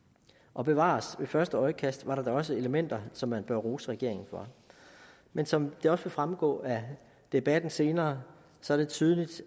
og bevares ved første øjekast så man da også elementer som man bør rose regeringen for men som det også vil fremgå af debatten senere ser man tydeligt